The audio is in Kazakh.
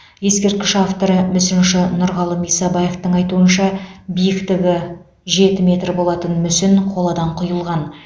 ескерткіш авторы мүсінші нұрғалым исабаевтың айтуынша биіктігі жеті метр болатын мүсін қоладан құйылған